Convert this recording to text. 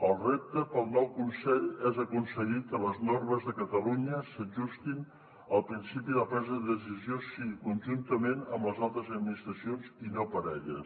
el repte per al nou consell és aconseguir que les normes de catalunya s’ajustin al principi de presa de decisió o sigui conjuntament amb les altres administracions i no per a elles